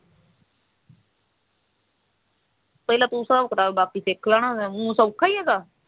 ਪਹਿਲਾ ਤੂੰ ਹਿਸਾਬ ਕਿਤਾਬ ਬਾਕੀ ਸਿੱਖ ਲੈਣਾ ਹੈਗਾ ਊਂ ਸੋਖਾ ਹੈਗਾ